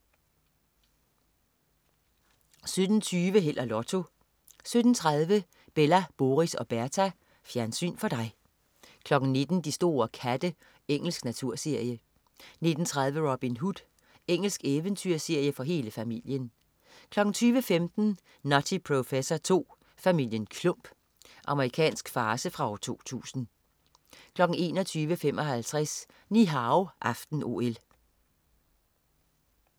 17.20 Held og Lotto 17.30 Bella, Boris og Berta. Fjernsyn for dig 19.00 De store katte. Engelsk naturserie 19.30 Robin Hood. Engelsk eventyrserie for hele familien 20.15 Nutty Professor II: Familien Klump. Amerikansk farce fra 2000 21.55 Ni Hao aften-OL